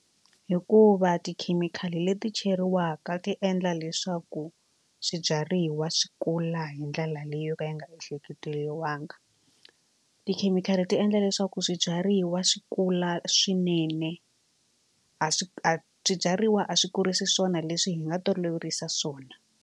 Hikuva tikhemikhali leti cheriwaka ti endla leswaku swibyariwa swi kula hi ndlela leyo ka yi nga ehleketeriwanga. Tikhemikhali ti endla leswaku swibyariwa swi kula swinene a swi a swibyariwa a swi kurisa swona leswi hi nga toloverisa swona.